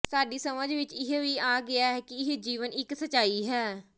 ਸਾਡੀ ਸਮਝ ਵਿੱਚ ਇਹ ਵੀ ਆ ਗਿਆ ਹੈ ਕਿ ਇਹ ਜੀਵਨ ਇਕ ਸਚਾਈ ਹੈ